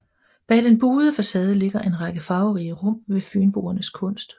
Bag den buede facade ligger en række farverige rum med Fynboernes kunst